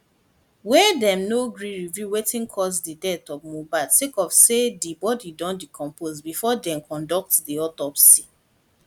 wey dem do no gree reveal wetin cause di death of mohbad sake of say di body don decompose bifor dem conduct di autopsy